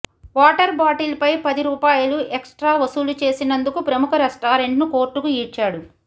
water bottle పై పది రూపాయలు ఎక్సట్రా వసూలు చేసినందుకు ప్రముఖ రెస్టారెంట్ను కోర్టుకు ఈడ్చాడు